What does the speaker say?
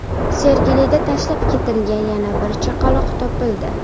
Sergelida tashlab ketilgan yana bir chaqaloq topildi.